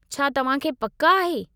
छा तव्हां खे पक आहे?